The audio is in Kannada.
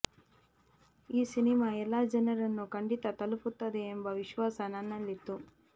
ಈ ಸಿನಿಮಾ ಎಲ್ಲ ಜನರನ್ನು ಖಂಡಿತಾ ತಲುಪುತ್ತದೆ ಎಂಬ ವಿಶ್ವಾಸ ನನ್ನಲ್ಲಿತ್ತು